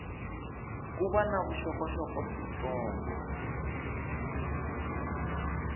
ko va na vuxokoxoko byitsongo